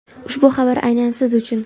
Ushbu xabar aynan siz uchun!.